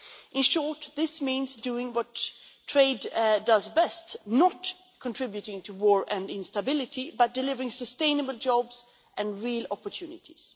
In short, this means doing what trade does best not contributing to war and instability but delivering sustainable jobs and real opportunities.